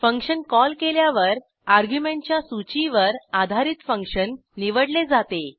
function call केल्यावर अर्ग्युमेंटच्या सूचीवर आधारित फंक्शन निवडले जाते